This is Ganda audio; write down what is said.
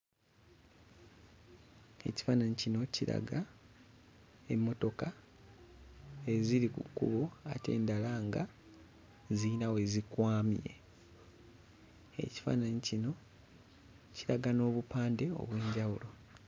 Ekifaananyi kino kiraga emmotoka eziri ku kkubo ate endala nga zirina we zikwamye. Ekifaananyi kino kiraga n'obupande obw'enjawulo.